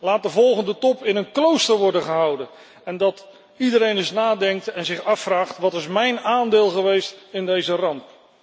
Laat de volgende top in een klooster worden gehouden zodat iedereen eens nadenkt en zich afvraagt wat is mijn aandeel geweest in deze ramp?